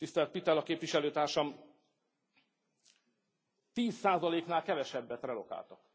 Tisztelt Pittella képviselő társam, tíz százaléknál kevesebbet relokáltak.